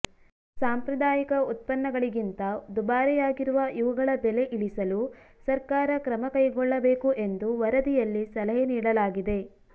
ಸಾಂಪ್ರದಾಯಿಕ ಉತ್ಪನ್ನಗಳಿಗಿಂತ ದುಬಾರಿಯಾಗಿರುವ ಇವುಗಳ ಬೆಲೆ ಇಳಿಸಲು ಸರ್ಕಾರ ಕ್ರಮ ಕೈಗೊಳ್ಳಬೇಕು ಎಂದು ವರದಿಯಲ್ಲಿ ಸಲಹೆ ನೀಡಲಾಗಿದೆ